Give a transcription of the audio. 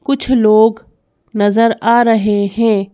कुछ लोग नजर आ रहे हैं।